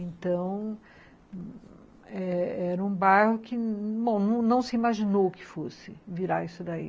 Então, era um bairro que não se imaginou que fosse virar isso daí.